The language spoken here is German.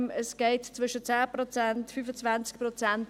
Es geht um 10–25 Prozent.